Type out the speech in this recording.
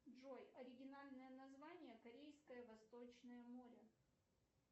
джой оригинальное название корейское восточное море